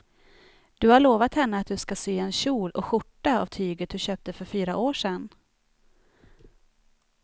Du har lovat henne att du ska sy en kjol och skjorta av tyget du köpte för fyra år sedan.